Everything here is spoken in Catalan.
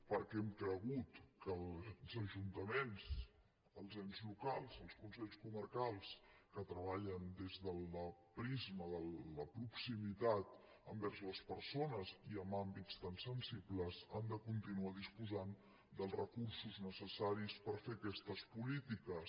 perquè hem cregut que els ajuntaments els ens locals els consells comarcals que treballen des del prisma de la proximitat envers les persones i en àmbits tan sensibles han de continuar disposant dels recursos necessaris per fer aquestes polítiques